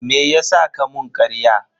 Meyasa ka mun karya?